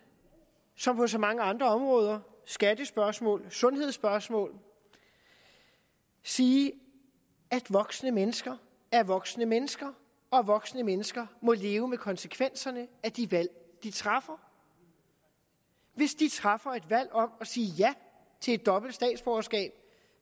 som på så mange andre områder skattespørgsmål sundhedsspørgsmål sige at voksne mennesker er voksne mennesker og voksne mennesker må leve med konsekvenserne af de valg de træffer hvis de træffer et valg om at sige ja til et dobbelt statsborgerskab